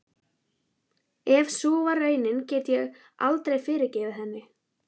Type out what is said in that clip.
Ef sú var raunin get ég aldrei fyrirgefið henni.